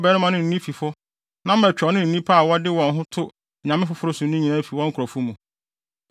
ɔbarima no ne ne fifo na matwa ɔno ne nnipa a wɔde wɔn ho to anyame foforo so no nyinaa afi wɔn nkurɔfo mu.